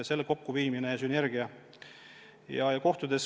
Kokkuviimisest tekib sünergia ja tuleb ka kokkuhoidu.